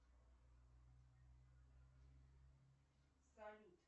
салют